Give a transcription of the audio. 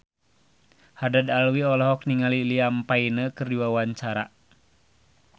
Haddad Alwi olohok ningali Liam Payne keur diwawancara